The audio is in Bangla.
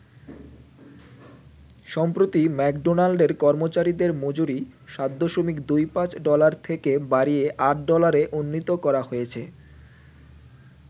সম্প্রতি ম্যাকডোনাল্ডের কর্মচারিদের মজুরি ৭.২৫ ডলার থেকে বাড়িয়ে ৮ ডলারে উন্নীত করা হয়েছে।